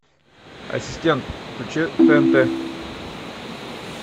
ассистент включи тнт